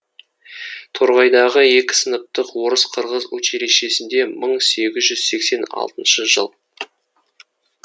торғайдағы екі сыныптық орыс қырғыз училищесінде мың сегіз жүз сексен алтыншы жыл